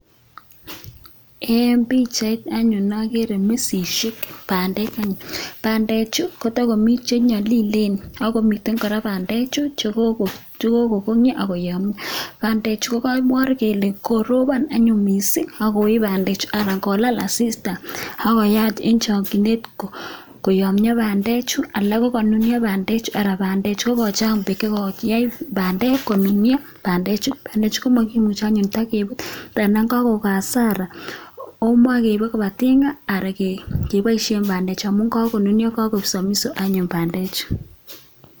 Eng pichait anyun ageere misisiek bandek eng yu, bandechu kotakomiten chenyalilen akomiten bandechu che kokongyo ako yomio. Bandechu kokaipor kele koropon anyuun mising akoip bandechu anan kolaal asista akoyai eng chokchinet koyamio bandechu alak kokanunio bandechu, ara bandechu kokochang beek chekokiyai bandek konunio, bandechu komakimuchei anyun kotakepuut tara kokon hasara omokaipe koba tinga ara kepoishe bandechu amun kakonunio, kakoek samiso anyuun bandechu.